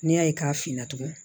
N'i y'a ye k'a finna tugu